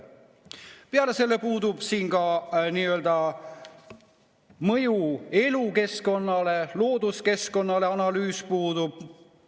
Peale selle puudub siin ka mõju elukeskkonnale, looduskeskkonnale – analüüs puudub.